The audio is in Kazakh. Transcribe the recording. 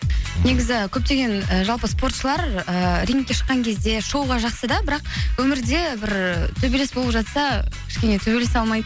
негізі көптеген і жалпы спортшылар ііі рингке шыққан кезде шоуға жақсы да бірақ өмірде бір ііі төбелес болып жатса кішкене төбелесе алмайды